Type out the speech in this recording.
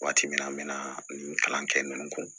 Waati min na an bɛ na nin kalan kɛ ninnu kɔ